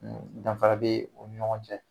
danfara be u ni ɲɔgɔn cɛ.